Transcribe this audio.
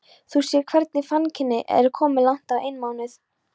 Þú sérð hvernig fannkyngið er og komið langt á einmánuð.